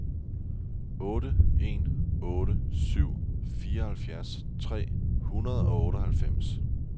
otte en otte syv fireoghalvfjerds tre hundrede og otteoghalvfems